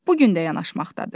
Bu gün də yanaşmaqdadır.